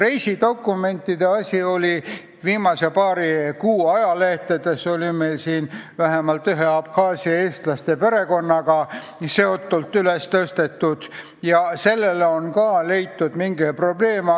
Mis puutub reisidokumentidesse, siis viimase paari kuu ajalehtedes on tõstatatud ühe Abhaasia eestlaste perekonna probleem ja sellele on ka leitud mingi lahendus.